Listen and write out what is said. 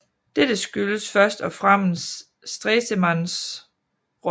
Dette skyldtes først og fremmest Stresemanns rolle